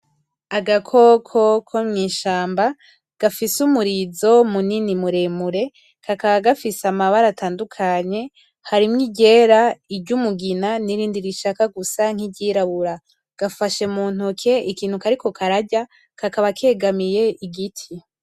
Agakoko ko mw'ishamba gafise umurizo munini muremure kakaba gafise amabara atandukanye harimwo iryera, iryumugina, n'irindi rishaka gusa nk'iryirabura gafashe mu ntoke ikintu kariko kararya kakaba kegamiye igiti.